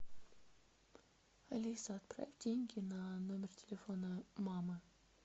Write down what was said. алиса отправь деньги на номер телефона мамы